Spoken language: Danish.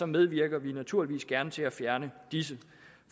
medvirker vi naturligvis gerne til at fjerne disse